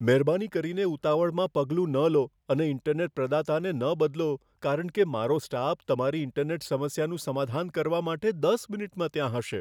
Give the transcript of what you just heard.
મહેરબાની કરીને ઉતાવળમાં પગલું ન લો અને ઈન્ટરનેટ પ્રદાતાને ન બદલો કારણ કે મારો સ્ટાફ તમારી ઈન્ટરનેટ સમસ્યાનું સમાધાન કરવા માટે દસ મિનિટમાં ત્યાં હશે.